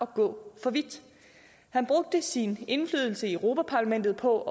gå for vidt han brugte sin indflydelse i europa parlamentet på at